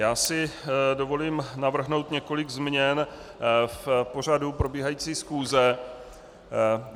Já si dovolím navrhnout několik změn v pořadu probíhající schůze.